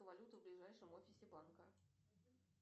валюту в ближайшем офисе банка